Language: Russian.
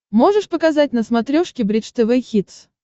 можешь показать на смотрешке бридж тв хитс